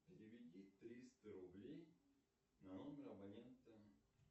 переведи триста рублей на номер абонента